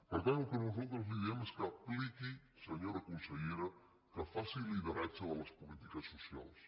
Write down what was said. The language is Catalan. per tant el que nosaltres li diem és que apliqui senyora consellera que faci lideratge de les polítiques socials